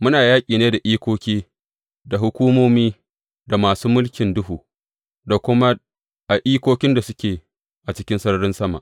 Muna yaƙi ne da ikoki, da hukumomi, da masu mulkin duhu, da kuma a ikokin da suke cikin a sararin sama.